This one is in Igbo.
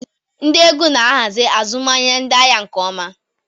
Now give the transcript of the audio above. Ndị ego na-ahazi azụmahịa ndị ahịa nke ọma.